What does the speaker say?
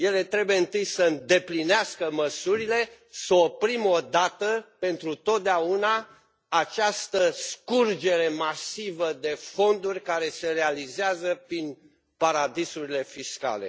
Ele trebuie întâi să îndeplinească măsurile, să oprim odată pentru totdeauna această scurgere masivă de fonduri care se realizează prin paradisurile fiscale.